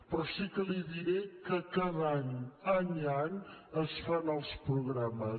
però sí que li diré que cada any any a any es fan els programes